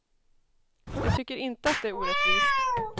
De tycker inte att det är orättvist.